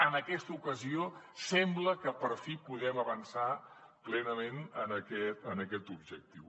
en aquesta ocasió sembla que per fi podem avançar plenament en aquest objectiu